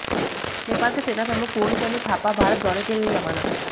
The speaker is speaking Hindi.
नेपाल के सेनाप्रमुख पूर्णचंद्र थापा भारत दौरे के लिए रवाना